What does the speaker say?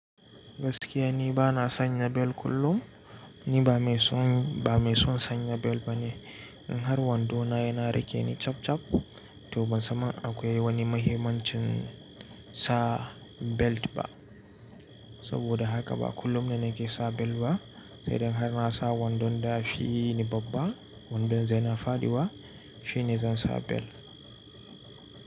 Gaskiya ni bana sanya bel kullum. Ni ba mai son, ba mai son sanya bel bane. In har wando na yana rake ni chap chap, to ban san akwai wani mahimmancin sa belt ba. Saboda haka, ba kullum ne nake sa bel ba. Sai dan har na sa wandon da fi yi ni babba, wandon zai na fadi wa, shine zan sa bel.